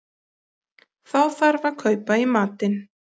Þá þarf að kaupa í matinn